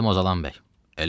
Məşədəm Ozanbəy.